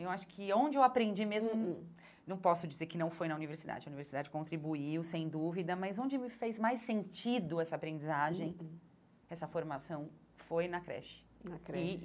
Eu acho que onde eu aprendi mesmo, hum não posso dizer que não foi na universidade, a universidade contribuiu, sem dúvida, mas onde me fez mais sentido essa aprendizagem, essa formação, foi na creche. Na creche e